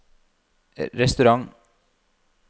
restaurant